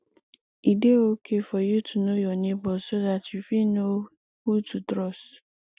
e dey okay for you to know your neigbours so dat you fit know who to trust